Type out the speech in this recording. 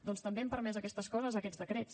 doncs també han permès aquestes coses aquests decrets